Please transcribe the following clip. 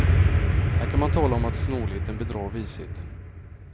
Här kan man tala om att snålheten bedrar visheten.